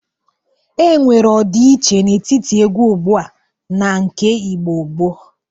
Enwere ọdịiche n'etiti egwu ugbu a na nke Igbo gboo.